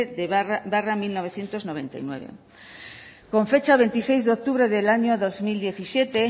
barra mil novecientos noventa y nueve con fecha veintiséis de octubre del año dos mil diecisiete